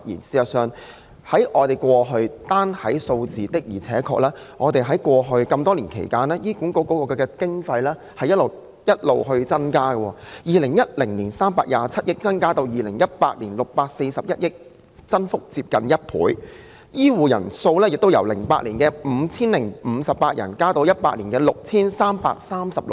事實上，單從數字可見，醫院管理局過去多年來獲得的經費確實不斷增加，由2010年的327億元增至2018年的641億元，增幅接近1倍，而醫生數目亦由2008年的 5,058 人增至2018年的 6,336 人。